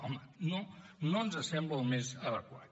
home no no ens sembla el més adequat